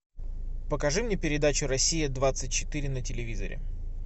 покажи мне передачу россия двадцать четыре на телевизоре